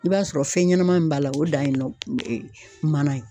I b'a sɔrɔ fɛn ɲɛnaman min b'a la o dan ye manan ye.